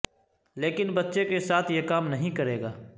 لیکن بچے کے ساتھ یہ کام نہیں کرے گا